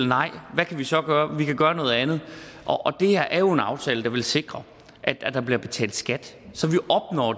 nej hvad kan vi så gøre vi kan gøre noget andet det her er jo en aftale der vil sikre at der bliver betalt skat så